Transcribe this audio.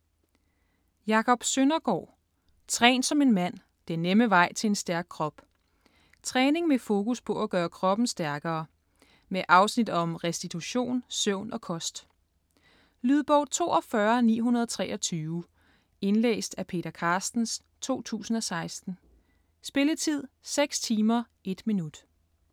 Søndergaard, Jacob: Træn som en mand: den nemme vej til en stærk krop Træning med fokus på at gøre kroppen stærkere. Med afsnit om restitution, søvn og kost. Lydbog 42923 Indlæst af Peter Carstens, 2016. Spilletid: 6 timer, 1 minut.